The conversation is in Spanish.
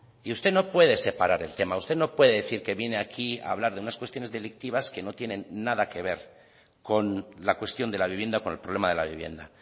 y usted no puede separar el tema usted no puede decir que viene a aquí a hablar de unas cuestiones delictivas que no tienen nada que ver con la cuestión de la vivienda con el problema de la vivienda